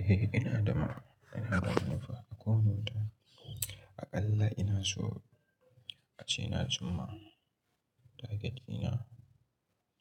Eh ina da ma, ina da manufa a koyaushe ta. Aƙalla ina so a ce na cumma target dina.